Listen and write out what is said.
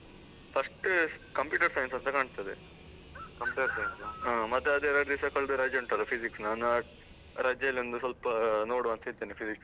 First computer science ಅಂತ ಕಾಣ್ತದೆ. ಹಾ ಮತ್ತೆ ಅದೆ ಎರಡ್ ದಿವಸ ಕಲ್ದು ರಜೆ ಉಂಟಲ್ಲ Physics , ನಾನ್ ಆ ರಜೆಯಲ್ಲೊಂದು ಸ್ವಲ್ಪ ನೋಡುವಾಂತ ಇದ್ದೇನೆ Physics .